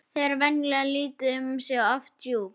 Þau eru venjulega lítil um sig og oft djúp.